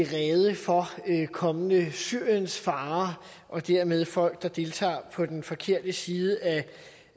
rede for kommende syriensfarere og dermed for folk der deltager på den forkerte side